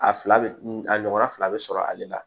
A fila bɛ n a ɲɔgɔnna fila bɛ sɔrɔ ale la